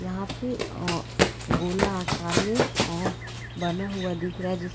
यहाँ पे ओं गोला आकर में ओंह बना हुआ दिख रहा है जिस--